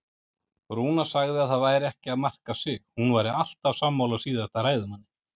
Rúna sagði að það væri ekki að marka sig, hún væri alltaf sammála síðasta ræðumanni.